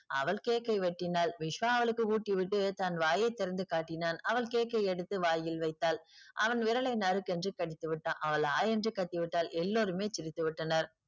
அவள் cake ஐ வெட்டினாள். விஸ்வா அவளுக்கு ஊட்டி விட்டு தன் வாயை திறந்து காட்டினான். அவள் cake ஐ எடுத்து வாயில் வைத்தாள். அவன் விரலை நறுக்கென்று கடித்து விட்டான். அவள் ஆ என்று கத்தி விட்டாள். எல்லோருமே சிரித்து விட்டனர்.